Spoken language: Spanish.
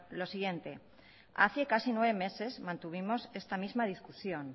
lo siguiente hace casi nueve meses mantuvimos esta misma discusión